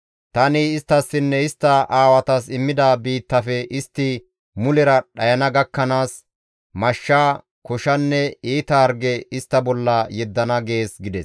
Tani isttassinne istta aawatas immida biittafe istti mulera dhayana gakkanaas, mashsha, koshanne iita harge istta bolla yeddana› gees» gides.